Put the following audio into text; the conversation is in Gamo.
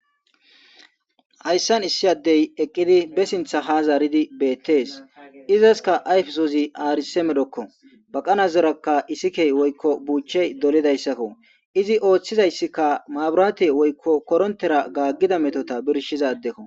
Hayssan issi addey eqqidi be sintha ha zaaridi beettees izaska ayfesozi aarise medokko baqana zerakka isikey woykko buuche dolidayssakko izi ooththizayssikka maaburaate woykko korontera gaaggida metota birshizadekko.